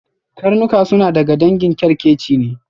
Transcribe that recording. Karnuka suna daga dangin kyarkeci ne.